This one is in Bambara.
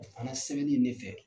O fana sɛbɛnni in ne fɛ